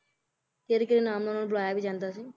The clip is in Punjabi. ਕਿਹੜੇ ਕਿਹੜੇ ਨਾਮ ਨਾਲ ਓਹਨਾ ਨੂੰ ਬੁਲਾਇਆ ਵੀ ਜਾਂਦਾ ਸੀ